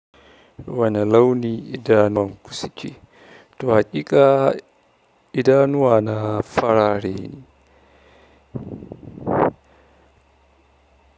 Wane launi idanuwan ku suke? Toh, haƙiƙa idanuwana farare ne.